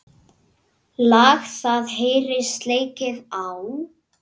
Lag það heyrist leikið á.